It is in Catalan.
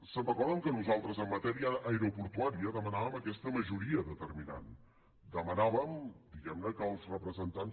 se’n recorden que nosaltres en matèria aeroportuària demanàvem aquesta majoria determinant demanàvem di guem ne que els representants